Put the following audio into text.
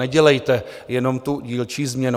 Nedělejte jenom tu dílčí změnu.